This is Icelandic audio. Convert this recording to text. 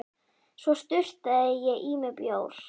Svo sturtaði ég í mig bjór.